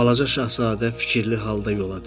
Balaca Şahzadə fikirli halda yola düşdü.